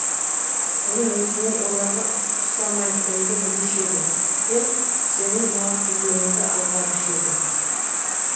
бұрын өзімнің оларға ұқсамайтынымды білуші едім де сенің налып жүргеніңді аңғарушы едім